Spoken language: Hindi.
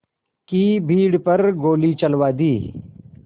की भीड़ पर गोली चलवा दी